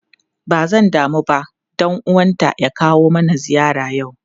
Ba zan damu ba dan uwanta ys kawo mana ziyara yau.